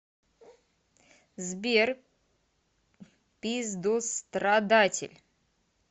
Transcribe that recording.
сбер пиздострадатель